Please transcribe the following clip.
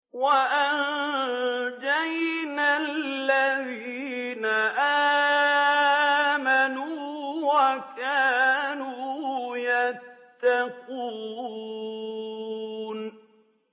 وَأَنجَيْنَا الَّذِينَ آمَنُوا وَكَانُوا يَتَّقُونَ